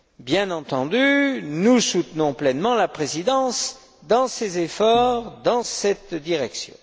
Bien entendu, nous soutenons pleinement la Présidence dans les efforts qu'elle déploie dans cette direction.